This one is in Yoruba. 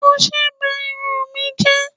Ọṣẹ ba irun ù mi jẹ́